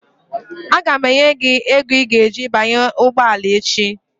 Aga m enye gị ego i ga-eji banye ụgbọala echi